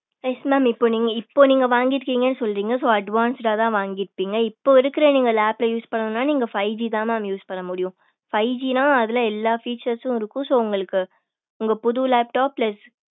yes mam இப்ப நீங்க இப்ப நீங்க வாங்கி இருக்கீங்க சொல்றீங்க so advance தான் வாங்கி இருப்பிங்க இப்ப இருக்கிற நீங்க lap use பண்ணனும்னா நீங்க five G தான் mam use பண்ண முடியும் five G என்ன அதுல எல்லா features இருக்கும் so உங்களுக்கு உங்க புது laptop ல